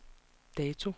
dato